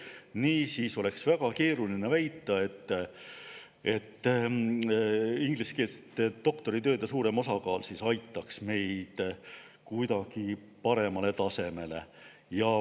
Niisiis oleks väga keeruline väita, et ingliskeelsete doktoritööde suurem osakaal aitab meid kuidagi paremale tasemele.